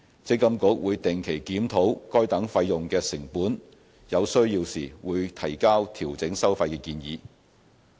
積金局會定期檢討該等費用的成本，有需要時會提交調整收費的建議。